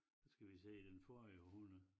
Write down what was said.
Skal vi sige den forrige århundrede